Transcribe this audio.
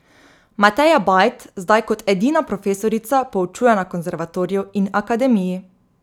Mateja Bajt zdaj kot edina profesorica poučuje na konservatoriju in akademiji.